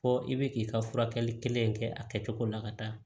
Fɔ i bɛ k'i ka furakɛli kelen in kɛ a kɛcogo la ka taa